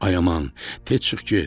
Ay aman, tez çıx get.